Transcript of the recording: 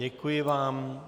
Děkuji vám.